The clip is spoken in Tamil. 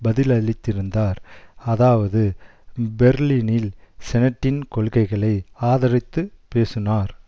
பதிலளித்திருந்தார் அதாவது பெர்லினில் செனட்டின் கொள்கைகளை ஆதரித்துப் பேசுனார்